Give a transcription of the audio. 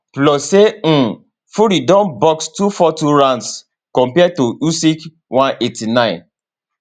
plus say um fury don box 242 rounds compared to usyk 189